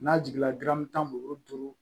N'a jiginna dɔrɔmɛ tan mugan duuru duuru